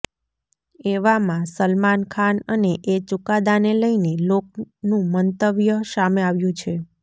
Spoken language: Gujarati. એવામાં સલમાન ખાન અને એ ચુકાદાને લઇને લોકનું મંતવ્ય સામે આવ્યું છે